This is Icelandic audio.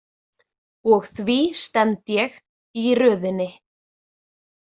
Og því stend ég í röðinni.